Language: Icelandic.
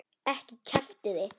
Ekki kjaftið þið.